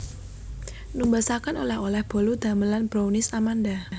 Numbasaken oleh oleh bolu damelan Brownies Amanda